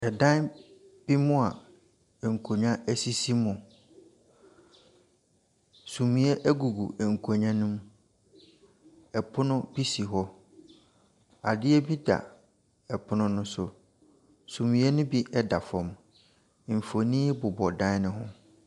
Dan bi mu a nkonnwa sisi mu. Sumiiɛ gugu nkonnwa no mu. Pono bi si hɔ. Adeɛ bi da pono no so. Sumiiɛ no bi da fam. Mfonin bobɔ dan no ho.